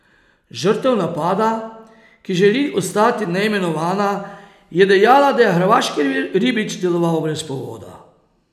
Žrtev napada, ki želi ostati neimenovana, je dejala, da je hrvaški ribič deloval brez povoda.